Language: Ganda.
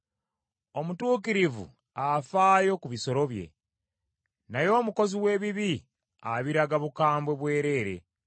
Omutuukirivu afaayo ku bisolo bye, naye omukozi w’ebibi abiraga bukambwe bwereere.